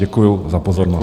Děkuju za pozornost.